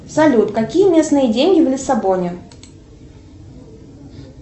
салют какие местные деньги в лиссабоне